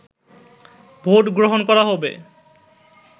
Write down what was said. vote গ্রহণ করা হবে